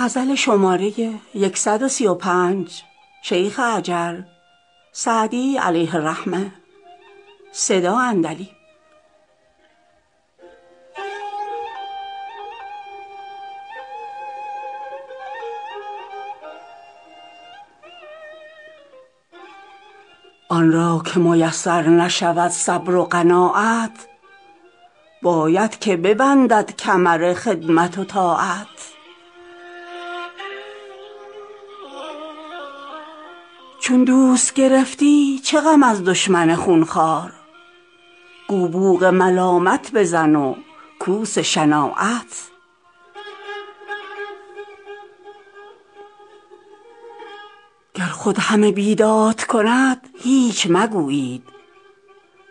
آن را که میسر نشود صبر و قناعت باید که ببندد کمر خدمت و طاعت چون دوست گرفتی چه غم از دشمن خونخوار گو بوق ملامت بزن و کوس شناعت گر خود همه بیداد کند هیچ مگویید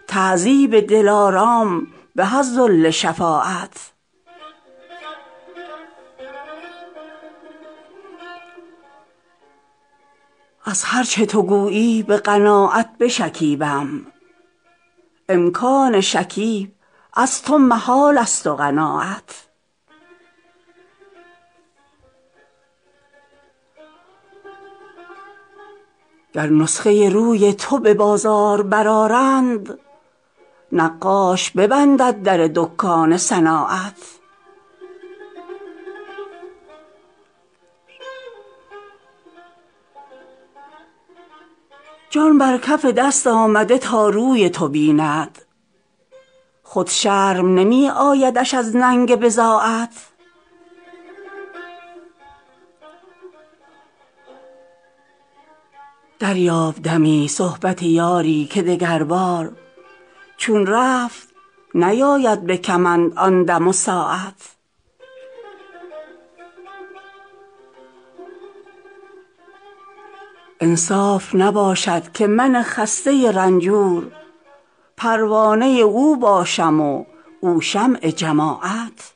تعذیب دلارام به از ذل شفاعت از هر چه تو گویی به قناعت بشکیبم امکان شکیب از تو محالست و قناعت گر نسخه روی تو به بازار برآرند نقاش ببندد در دکان صناعت جان بر کف دست آمده تا روی تو بیند خود شرم نمی آیدش از ننگ بضاعت دریاب دمی صحبت یاری که دگربار چون رفت نیاید به کمند آن دم و ساعت انصاف نباشد که من خسته رنجور پروانه او باشم و او شمع جماعت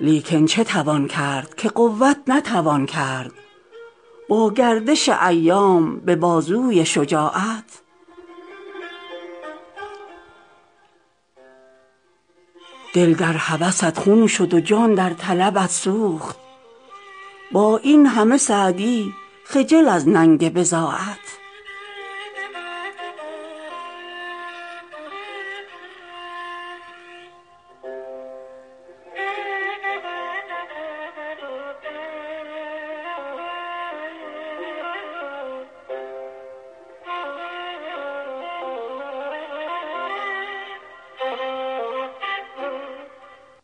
لیکن چه توان کرد که قوت نتوان کرد با گردش ایام به بازوی شجاعت دل در هوست خون شد و جان در طلبت سوخت با این همه سعدی خجل از ننگ بضاعت